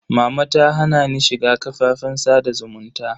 Mama ta hana ni shiga kafafen sada zumunta.